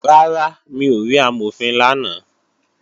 Rárá, mi ò rí Amọ̀fin lánàá